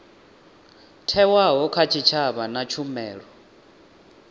thewaho kha tshitshavha na tshumelo